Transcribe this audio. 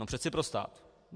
No přece pro stát.